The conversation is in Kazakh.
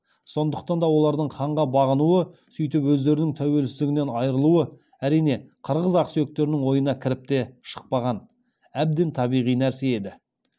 сондықтан да олардың ханға бағынуы сөйтіп өздерінің тәуелсіздігінен айырылуы әрине қырғыз ақсүйектерінің ойына кіріп те шықпаған әбден табиғи нәрсе еді